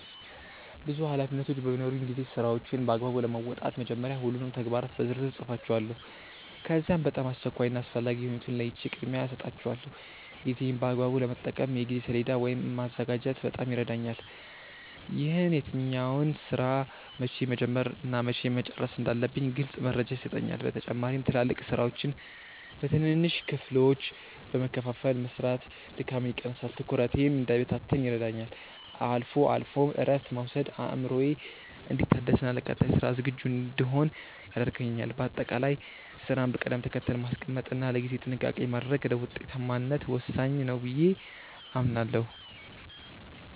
ብዙ ኃላፊነቶች በሚኖሩኝ ጊዜ ስራዎቼን በአግባቡ ለመወጣት መጀመሪያ ሁሉንም ተግባራት በዝርዝር እጽፋቸዋለሁ። ከዚያም በጣም አስቸኳይ እና አስፈላጊ የሆኑትን ለይቼ ቅድሚያ እሰጣቸዋለሁ። ጊዜዬን በአግባቡ ለመጠቀም የጊዜ ሰሌዳ ወይም ማዘጋጀት በጣም ይረዳኛል። ይህም የትኛውን ስራ መቼ መጀመር እና መቼ መጨረስ እንዳለብኝ ግልጽ መረጃ ይሰጠኛል። በተጨማሪም ትላልቅ ስራዎችን በትንንሽ ክፍሎች በመከፋፈል መስራት ድካምን ይቀንሳል፤ ትኩረቴም እንዳይበታተን ይረዳኛል። አልፎ አልፎም እረፍት መውሰድ አእምሮዬ እንዲታደስና ለቀጣይ ስራ ዝግጁ እንድሆን ያደርገኛል። በአጠቃላይ ስራን በቅደም ተከተል ማስቀመጥ እና ለጊዜ ጥንቃቄ ማድረግ ለውጤታማነት ወሳኝ ነው ብዬ አምናለሁ።